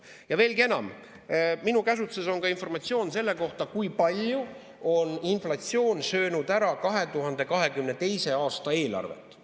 Ja veelgi enam, minu käsutuses on informatsioon selle kohta, kui palju on inflatsioon söönud ära 2022. aasta eelarvet.